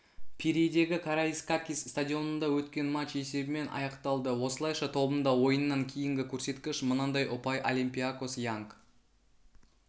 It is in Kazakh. пирейдегі караискакис стадионында өткен матч есебімен аяқталды осылайша тобында ойыннан кейінгі көрсеткіш мынандай ұпай олимпиакос янг